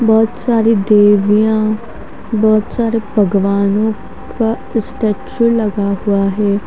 बहोत सारी देविया बहोत सारे भगवानो का स्टेचू लगा हुआ है।